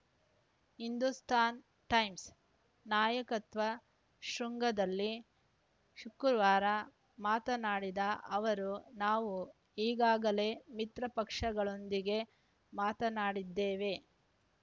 Hindustan Times ನಾಯಕತ್ವ ಶೃಂಗದಲ್ಲಿ ಶುಕ್ರವಾರ ಮಾತನಾಡಿದ ಅವರು ನಾವು ಈಗಾಗಲೇ ಮಿತ್ರಪಕ್ಷಗಳೊಂದಿಗೆ ಮಾತನಾಡಿದ್ದೇವೆ